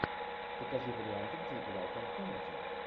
покажи варианты где играл том харди